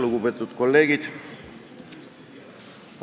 Lugupeetud kolleegid!